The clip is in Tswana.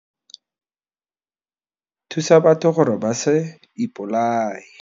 Thusa batho gore ba se ipolaye.